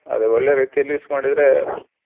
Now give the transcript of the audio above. ಅದೆ ಒಳ್ಳೆ ರೀತಿಲಿ use ಮಾಡಿದ್ರೆ.